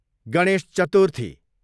Ganesh Chaturthi